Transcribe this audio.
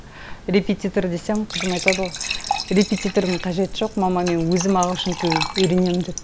репетитор десем қызым айтады ғой репетитордың қажеті жоқ мама мен өзім ағылшын тілін үйренемін деп